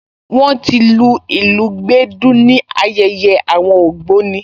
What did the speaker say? Wọ́n ti lu ìlù gbẹ̀dú ní ayẹyẹ àwọn ògbóni